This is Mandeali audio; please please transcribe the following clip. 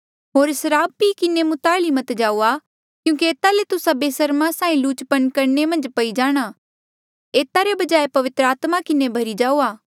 होर सराब पी किन्हें मुताली मत जाऊआ क्यूंकि एता ले तुस्सा बेसरमा साहीं लुचपन करणे मन्झ पई जाणा एता रे बजाय पवित्र आत्मा किन्हें भरी जाऊआ